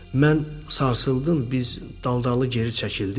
Mən sarsıldım, biz daldalı geri çəkildik.